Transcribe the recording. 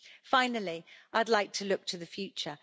Finally, I'd like to look to the future.